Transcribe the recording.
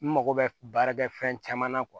N mago bɛ baara kɛ fɛn caman na